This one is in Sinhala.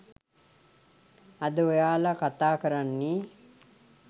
අද ඔයාල කතා කරන්නෙ